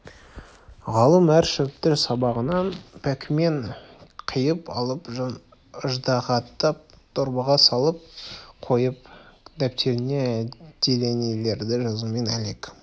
ғалым әр шөпті сабағынан бәкімен қиып алып ыждағаттап дорбаға салып қойын дәптеріне әлденелерді жазумен әлек